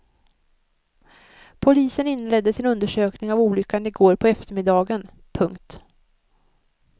Polisen inledde sin undersökning av olyckan i går på eftermiddagen. punkt